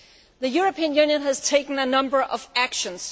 The European Union has taken a number of actions.